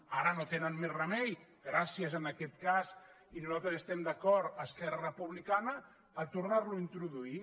ara no tenen més remei gràcies en aquest cas i nosaltres hi estem d’acord a esquerra republicana a tornar ho a introduir